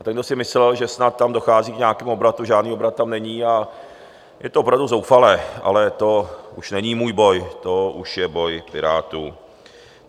A ten, kdo si myslel, že snad tam dochází k nějakému obratu - žádný obrat tam není, a je to opravdu zoufalé, ale to už není můj boj, to už je boj Pirátů.